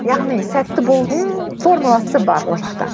яғни сәтті болудың формуласы бар ол жақта